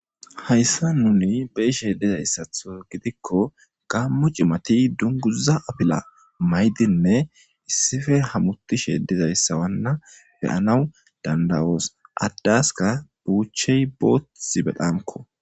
Hayssan nuni be7ishee dizayssatho gidikko gaammo cimathi dunguzza apilaa mayidinne issife hamoththishe dizayssawanna be7anawu dadda7oos; addaaskka buuchchey booththi bexamkko.